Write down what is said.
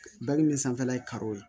Baki min sanfɛla ye karo ye